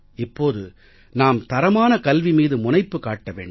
இப்போது நாம் தரமான கல்வி மீது முனைப்பு காட்ட வேண்டும்